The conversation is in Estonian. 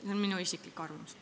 See on minu isiklik arvamus.